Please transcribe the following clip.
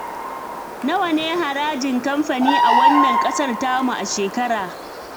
Nawa ne harajin kamfani a wannan ƙasar tamu a shekara